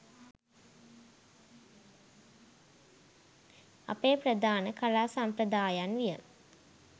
අපේ ප්‍රධාන කලා සම්ප්‍රදායන් විය.